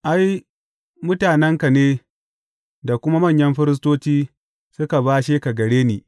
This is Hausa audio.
Ai, mutanenka ne da kuma manyan firistoci suka bashe ka gare ni.